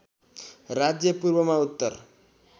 राज्य पूर्वमा उत्तर